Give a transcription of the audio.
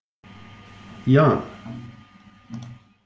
Jan